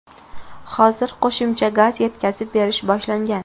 Hozir qo‘shimcha gaz yetkazib berish boshlangan.